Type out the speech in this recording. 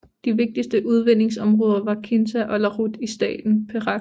De vigtigste udvindingsområder var Kinta og Larut i staten Perak